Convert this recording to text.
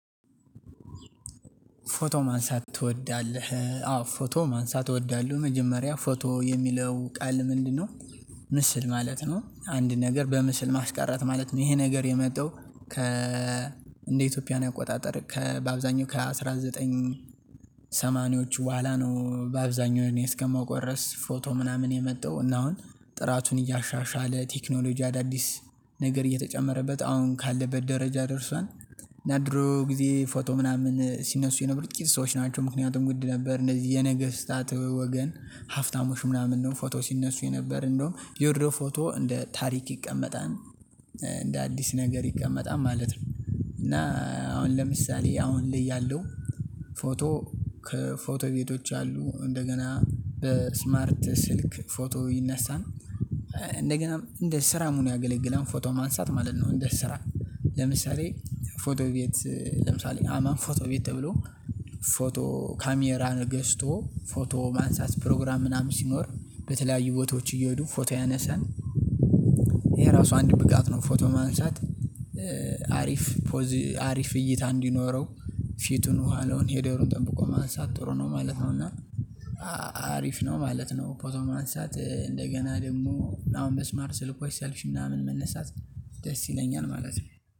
ፎቶ ማንሳት ትወዳለህ? አዎ ፎቶ ማንሳት እወዳለሁ። መጀመሪያ ፎቶ የሚለው ቃል ምንድነው? ምስል ማለት ነው፤ አንድ ነገር በምስል ማስቀረት ማለት ነው፤ ይሄ ነገር የመጣው፤ ከ እንደ ኢትዮጵያን አቆጣጠር ከ በአብዛኛው ከአንድ ሺህ ዘጠኝ መቶ ሰማኒያዎቹ በኋላ ነው በአብዛኛው እኔ እስከማውቀው ድረስ ፎቶ ምናምን የመጣው፤ እና አሁን ጥራቱን እያሻሻለ፤ ቴክኖሎጂ አዳዲስ ነገር እየተጨመረበት፤ አሁን ካለበት ደረጃ ደርሷል። እና ድሮ ጊዜ ፎቶ ምናምን ሲነሱ የነበሩት ጥቂት ሰዎች ናቸው፤ ምክንያቱም ውድ ነበር፤ እንደዚህ የነገስታት ወገን፤ ሀፍታሞች ምናምን ነው ፎቶ ሲነሱ የነበረ፤ እንደውም የወረደው ፎቶ እንደ ታሪክ ይቀመጣል። እንደ አዲስ ነገር ይቀመጣል ማለት ነው፤ እና አሁን ለምሳሌ አሁን ልይ ያለው፤ ፎቶ ከፎቶ ቤቶች አሉ፤ እንደገና በስማርት ስልክ ፎቶ ይነሳል፤ እንደገና እንደ ስራም ሆኖ ያገለግላል ፎቶ ማንሳት ማለት ነው። እንደ ስራ ለምሳሌ ፎቶ ቤት ለምሳሌ አማን ፎቶ ቤት ተብሎ፤ ፎቶ ካሜራን ገስቶ ፎቶ ማንሳት ፕሮግራም ምናምን ሲኖር በተለያዩ ቦታዎች እየሄዱ ፎቶ ያነሳሉ፤ ይሄ ራሱ አንድ ብቃት ነው። ፎቶ ማንሳት አሪፍ አሪፍ እይታ እንዲኖረው ፊቱን ውሃለውን ሄደሩን ጠብቆ ማንሳት ጥሩ ነው ማለት ነው። እና አሪፍ ነው ማለት ነው ፎቶ ማንሳት እንደገና ደግሞ አሁን በስማርት ስልኮች ሴልፊ ምናምን መነሳት ደስ ይለኛል ማለት ነው።